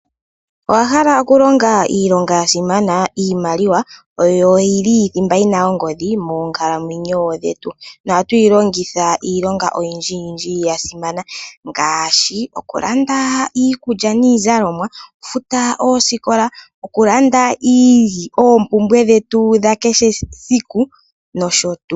Owahala okulonga iilonga yasimana. Iimaliwa oyo yili thimba yina ongodhi moonkalamwenyo dhetu Ohatuyi longitha iilonga oyindji yasimana ngaashi okulanda iikulya niizalomwa, okufuta oosikola, okulanda oompumbwe dhetu nosho tuu.